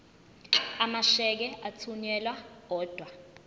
amasheke athunyelwa odwa